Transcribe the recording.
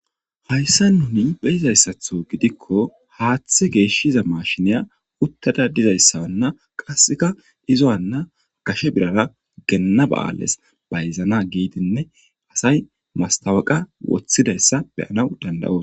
Hayssa nuni beyizayssatho gidikko haaththe geeshshiza mashiniya uttada dizayssawanna qasseka izo'anna gashe birara genna ba'ales bayzana giidinne asay mastawaqa woththidayssa beyanaw danda'os.